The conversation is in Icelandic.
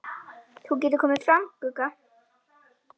Þú getur komið fram, Gugga!